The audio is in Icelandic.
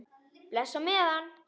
Bless á meðan.